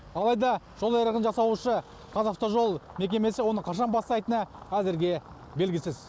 алайда жол айрығын жасаушы қазавтожол мекемесі оны қашан бастайтыны әзірге белгісіз